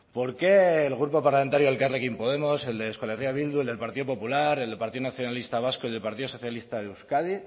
por qué el grupo parlamentario elkarrekin podemos el de euskal herria bildu el del partido popular el del partido nacionalista vasco y del partido socialista de euskadi